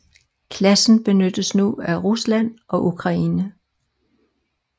Klassen benyttes nu af Rusland og Ukraine